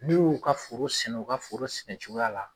N'u y'u ka foro sɛnɛ u ka foro sɛnɛ cogoya la